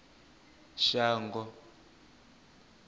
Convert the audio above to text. shango